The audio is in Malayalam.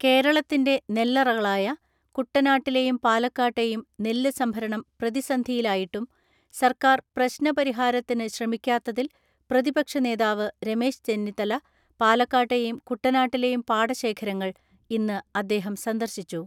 കേരളത്തിന്റെ നെല്ലറകളായ കുട്ടനാട്ടിലെയും പാലക്കാട്ടെയും നെല്ല് സംഭരണം പ്രതിസന്ധിയിലായിട്ടും സർക്കാർ പ്രശ്ന പരിഹാരത്തിന് ശ്രമിക്കാത്തതിൽ പ്രതിപക്ഷ നേതാവ് രമേശ് ചെന്നിത്തല പാലക്കാട്ടേയും കുട്ടനാട്ടിലെയും പാടശേഖരങ്ങൾ ഇന്ന് അദ്ദേഹം സന്ദർശിച്ചു.